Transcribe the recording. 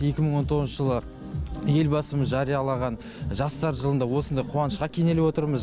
екі мың он тоғызыншы жылы елбасымыз жариялаған жастар жылында осындай қуанышқа кенеліп отырмыз